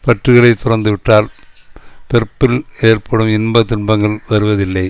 பற்றுகளை துறந்துவிட்டால் பிறப்பில் ஏற்படும் இன்ப துன்பங்கள் வருவதில்லை